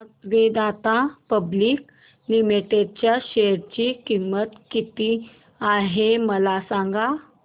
आज Vedanta public limited च्या share ची किंमत किती आहे मला सांगा